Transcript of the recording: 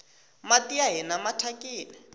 mati ya hina mathyakini